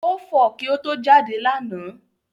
Ó fọ kí ó to jáde lánàá.